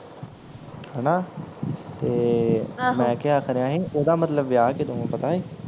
ਹਣਾ ਤੇ ਆਹੋ ਮੈਂ ਕਿਹਾ ਖਰੇ ਇਹਦਾ ਮਤਲਬ ਵਿਆਹ ਕਦੋਂ ਆ ਪਤਾ ਈ